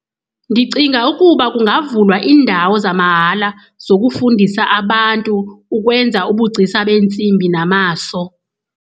Ndicinga ukuba kungavunyelwa indawo zamahala zokufundisa abantu ukwenza ubugcisa beentsimbi namaso.